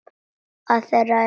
Að það er horfið!